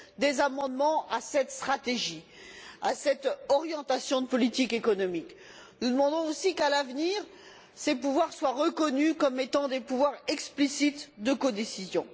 des amendements à cette stratégie, à cette orientation de politique économique. Nous demandons aussi qu'à l'avenir, ces pouvoirs soient reconnus comme étant des pouvoirs explicites de codécision.